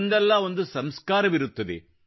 ಒಂದಲ್ಲ ಒಂದು ಸಂಸ್ಕಾರವಿರುತ್ತದೆ